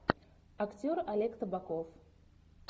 актер олег табаков